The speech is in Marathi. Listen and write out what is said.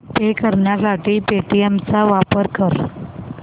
पे करण्यासाठी पेटीएम चा वापर कर